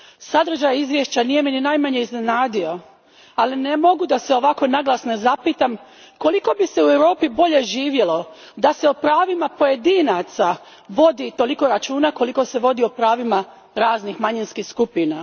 Sadržaj izvješća nije me ni najmanje iznenadio, ali ne mogu da se ovako naglas ne zapitam koliko bi se u Europi bolje živjelo da se o pravima pojedinaca vodi toliko računa koliko se vodi o pravima raznih manjinskih skupina.